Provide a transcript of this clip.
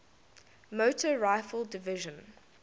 motor rifle division